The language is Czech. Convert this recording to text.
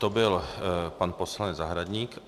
To byl pan poslanec Zahradník.